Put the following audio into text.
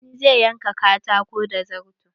Sani zai yanka katakon da zarto.